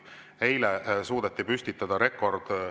Eile suudeti püstitada rekord.